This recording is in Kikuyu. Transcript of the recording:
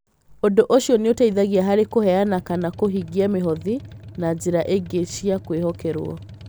Ũndũ ũcio nĩ ũteithagia harĩ kũheana kana kũhingia mĩhothi na njĩra ingĩ cia kwĩhokerwo.